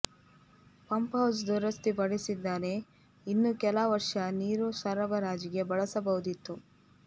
pump house ದುರಸ್ತಿ ಪಡಿಸಿದ್ದರೆ ಇನ್ನು ಕೆಲ ವರ್ಷ ನೀರು ಸರಬರಾಜಿಗೆ ಬಳಸಬಹುದಿತ್ತು